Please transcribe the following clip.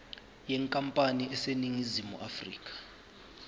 yenkampani eseningizimu afrika